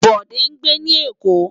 Bode ngbé ni Ekó